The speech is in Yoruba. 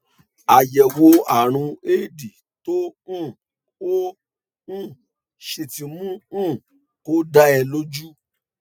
àyẹwò ààrùn éèdì tó um o um ṣe ti mú um kó dá ẹ lójú